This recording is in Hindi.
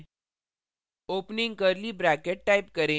enter दबाएँ